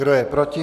Kdo je proti?